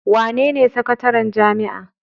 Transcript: Wenene sakataren jami'a?